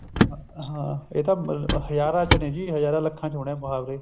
ਹਾਂ ਇਹ ਤਾਂ ਹਜ਼ਾਰਾਂ ਚ ਨੇ ਜੀ ਹਜ਼ਾਰਾਂ ਲੱਖਾਂ ਚ ਹੋਣੇ ਹੈ ਮੁਹਾਵਰੇ